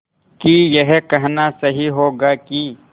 कि यह कहना सही होगा कि